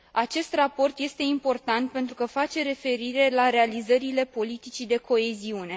Acest raport este important pentru că face referire la realizările politicii de coeziune.